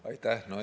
Aitäh!